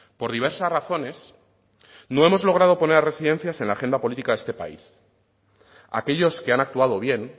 por diversas razones no hemos logrado poner residencias en la agenda política de este país aquellos que han actuado bien